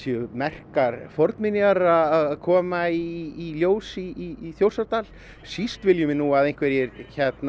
merkar fornminjar eru að koma í ljós í Þjórsárdal síst viljum við að einhverjir